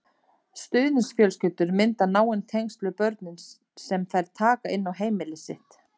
Stuðningsfjölskyldur mynda náin tengsl við börnin sem þær taka inn á heimili sitt.